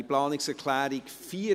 Wir kommen zur Planungserklärung 4.